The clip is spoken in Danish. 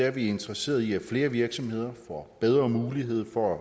er vi interesserede i at flere virksomheder får bedre mulighed for